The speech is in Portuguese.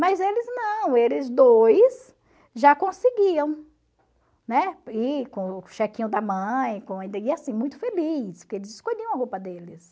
Mas eles não, eles dois já conseguiam, né, ir com o chequinho da mãe, e assim, muito felizes, porque eles escolhiam a roupa deles.